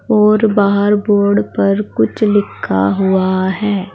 और बाहर बोर्ड पर कुछ लिखा हुआ है।